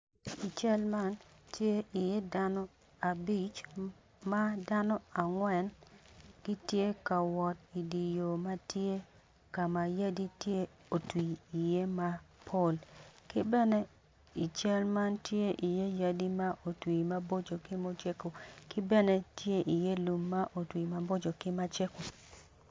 I cal man tye i ye dano abic madano angwen gitye ka wot i diyo matye kama yadi tye otwi i ye mapol ki bene i cal man tye i ye yadi ma otwi maboco ki macego ki bene tye i ye lum ma otwi i ye maboco ki macego.